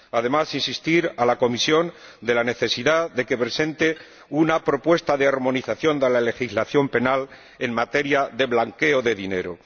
Además, quiero insistir a la Comisión en la necesidad de que presente una propuesta de armonización de la legislación penal en materia de blanqueo de dinero